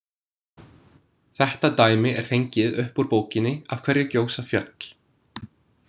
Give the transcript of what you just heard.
Þetta dæmi er fengið upp úr bókinni Af hverju gjósa fjöll?